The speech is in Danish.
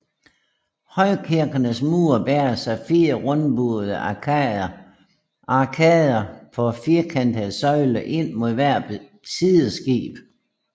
Højkirkens mure bæres af fire rundbuede arkader på firkantede søjler ind mod hvert sideskib